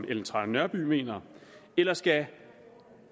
ellen trane nørby mener eller skal